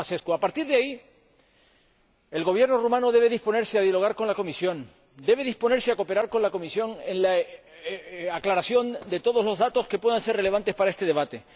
A partir de ahí, el Gobierno rumano debe disponerse a dialogar con la Comisión, debe disponerse a cooperar con la Comisión en la aclaración de todos los datos que puedan ser relevantes para este debate.